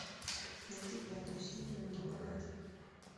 найди пятую серию ну погоди